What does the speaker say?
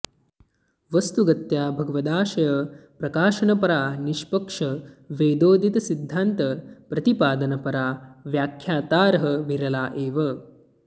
वस्तुगत्या भगवदाशय प्रकाशनपरा निष्पक्ष वेदोदित सिद्धान्त प्रतिपादनपरा व्याख्यातारः विरला एव